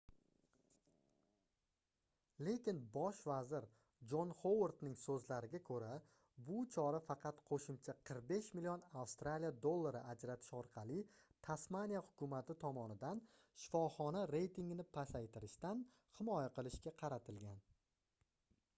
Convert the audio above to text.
lekin bosh vazir jon xovardning soʻzlariga koʻra bu chora faqat qoʻshimcha 45 million aud ajratish orqali tasmaniya hukumati tomonidan shifoxona reytigini pasaytirishdan himoya qilishga qaratilgan